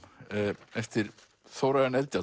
eftir Þórarin Eldjárn